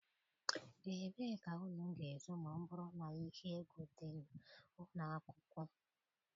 Ebee ka unu ga-ezo ma ọ bụrụ na ihe egwu dị n'ụlọ akwụkwọ?